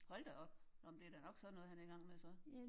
Hold da op! Når men det er da nok sådan noget han er i gang med så